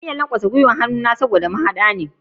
Na kan iya lankwasa gwiwar hannu dan haddi ne.